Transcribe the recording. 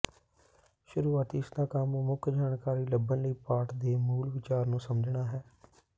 ਸ਼ੁਰੂਆਤੀ ਇਸਦਾ ਕੰਮ ਮੁੱਖ ਜਾਣਕਾਰੀ ਲੱਭਣ ਲਈ ਪਾਠ ਦੇ ਮੂਲ ਵਿਚਾਰ ਨੂੰ ਸਮਝਣਾ ਹੈ